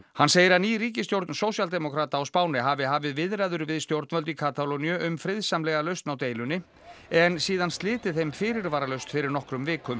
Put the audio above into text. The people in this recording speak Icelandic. hann segir að ný ríkisstjórn sósíaldemókrata hafi hafið viðræður við stjórnvöld í Katalóníu um friðsamlega lausn á deilunni en síðan slitið þeim fyrirvaralaust fyrir nokkrum vikum